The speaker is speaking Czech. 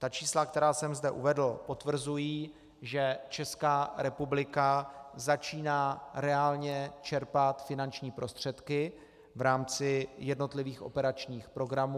Ta čísla, která jsem zde uvedl, potvrzují, že Česká republika začíná reálně čerpat finanční prostředky v rámci jednotlivých operačních programů.